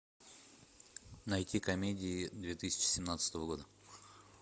найти комедии две тысячи семнадцатого года